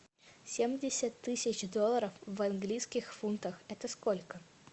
семьдесят тысяч долларов в английских фунтах это сколько